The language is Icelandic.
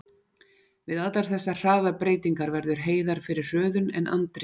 Við allar þessar hraðabreytingar verður Heiðar fyrir hröðun, en Andri finnur ekki neitt.